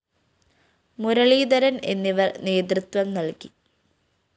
മുരളീധരന്‍ എന്നിവര്‍ നേതൃത്വം നല്‍കി